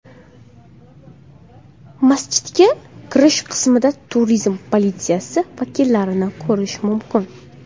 Masjidga kirish qismida turizm politsiyasi vakillarini ko‘rish mumkin.